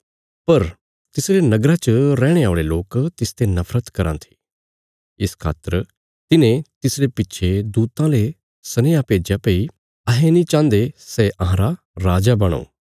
पर तिसरे नगरा च रैहणे औल़े लोक तिसते नफरत कराँ थे इस खातर तिन्हे तिसरे पिच्छे दूतां ले सनेहा भेज्या भई अहें नीं चाहन्दे सै अहांरा राजा बणो